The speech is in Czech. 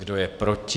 Kdo je proti?